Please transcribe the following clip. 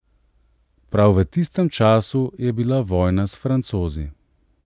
Prav v tistem času je bila vojna s Francozi.